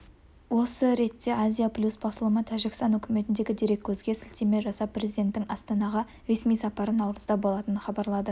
осы ретте азия-плюс басылымы тәжікстан үкіметіндегі дереккөзге сілтеме жасап президенттің астанаға ресми сапары наурызда болатынын хабарлады